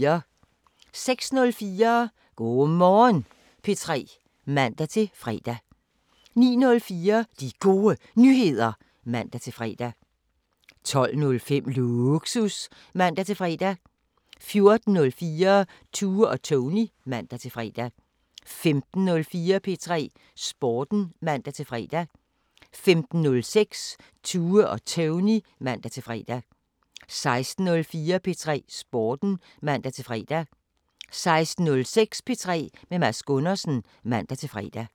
06:04: Go' Morgen P3 (man-fre) 09:04: De Gode Nyheder (man-fre) 12:05: Lågsus (man-fre) 14:04: Tue og Tony (man-fre) 15:04: P3 Sporten (man-fre) 15:06: Tue og Tony (man-fre) 16:04: P3 Sporten (man-fre) 16:06: P3 med Mads Gundersen (man-fre)